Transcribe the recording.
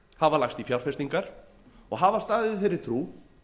hafa lagst í fjárfestingar og hafa staðið í þeirri trú